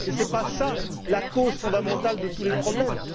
Cela n'est pas la cause fondamentale de tous les problèmes.